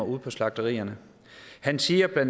ude på slagterierne han siger